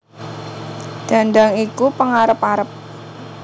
Dhandhang iku pengarep arep